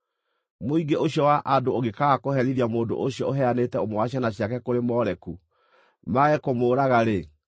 Mũingĩ ũcio wa andũ ũngĩkaaga kũherithia mũndũ ũcio ũheanĩte ũmwe wa ciana ciake kũrĩ Moleku, mage kũmũũraga-rĩ,